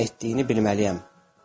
Onun nə etdiyini bilməliyəm.